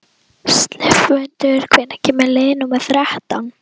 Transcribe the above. slefmundur, hvenær kemur leið númer þrettán?